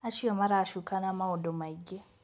Acio maracukana maũndũ maingĩ.